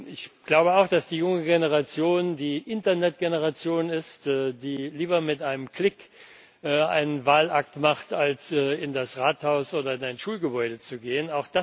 Ich glaube auch, dass die junge Generation die Internet Generation ist, die lieber mit einem Klick einen Wahlakt macht, als in das Rathaus oder in ein Schulgebäude zu gehen.